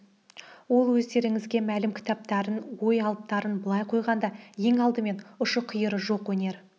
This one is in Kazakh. ол өздеріңізге мәлім кітаптарын ой алыптарын былай қойғанда ең алдымен ұшы-қиыры жоқ өнер